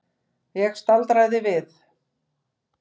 Ég staldraði við.